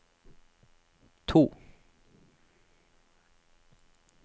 to